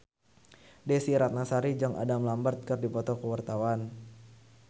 Desy Ratnasari jeung Adam Lambert keur dipoto ku wartawan